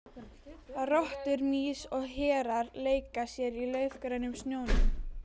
Rottur, mýs og hérar leika sér í laufgrænum snjónum.